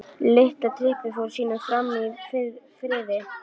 Litla trippið fór sínu fram í friði.